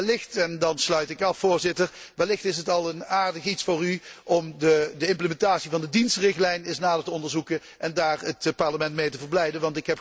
Wellicht, en dan sluit ik af, Voorzitter, is het al een aardig iets voor u om de implementatie van de dienstenrichtlijn eens nader te onderzoeken en daar het Parlement mee te verblijden